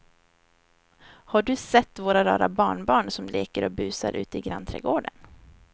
Har du sett våra rara barnbarn som leker och busar ute i grannträdgården!